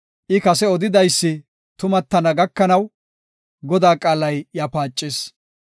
I kase odidaysi tumattana gakanaw, Godaa qaalay iya paacis.